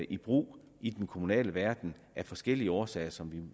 i brug i den kommunale verden af forskellige årsager som vi